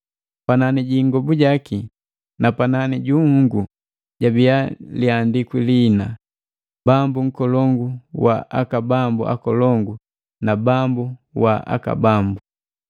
Panani ji ingobu jaki, na panani ju nhunguu, jabiya liandikwi lihina: “Bambu nkolongu wa aka bambu akolongu na Bambu wa aka bambu.”